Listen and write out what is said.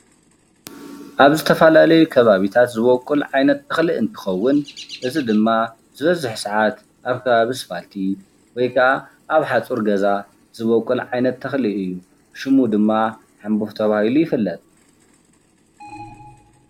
ኣብ ዝተፈላለየ ከባቢታት ዝበቁል ዓይነት እክሊ እንትከውን እዚ ድማ ዝበዝሕ ሰዓት ኣብ ከባቢ ኣስፓልቲ ወይ ከዓ ኣብ ሓፁር ገዛ ዝበቁል ዓይነት ተክሊ እዩ። ሽሙ ድማ ሕቡፍ ተባሂሉ ይፍለጥ።